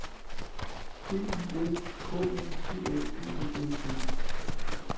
D I S K U T A B E L T